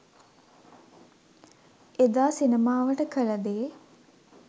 එදා සිනමාවට කළ දේ